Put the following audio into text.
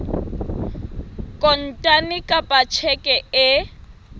kontane kapa ka tjheke e